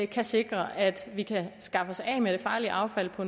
kan sikre at vi kan skaffe os af med det farlige affald på